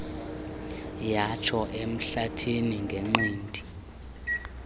yatsho emhlathini ngenqindi